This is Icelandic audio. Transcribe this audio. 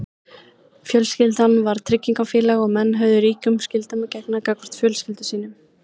fjölskyldan var tryggingafélag og menn höfðu ríkum skyldum að gegna gagnvart fjölskyldum sínum